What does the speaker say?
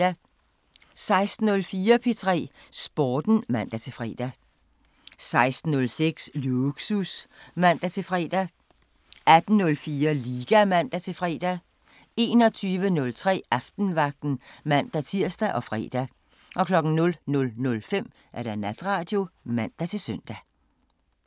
16:04: P3 Sporten (man-fre) 16:06: Lågsus (man-fre) 17:04: P3 Sporten (man-fre) 17:06: Lågsus (man-fre) 18:04: Liga (man-fre) 21:03: Aftenvagten (man-tir og fre) 00:05: Natradio (man-søn)